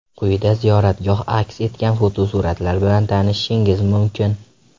Quyida ziyoratgoh aks etgan fotosuratlar bilan tanishishingiz mumkin.